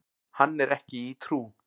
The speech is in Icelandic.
Hann er ekki í trú.